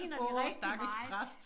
Åh stakkels præst